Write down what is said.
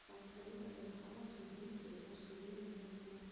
Hvaða klaufalegi hávaxni hundur er besti vinur Mikka mús?